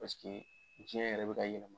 Pasike jiyɛn yɛrɛ bɛ ka yɛlɛma.